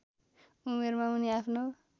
उमेरमा उनी आफ्नो